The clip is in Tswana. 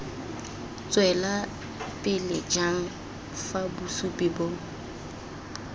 tswelelapele jang fa bosupi bo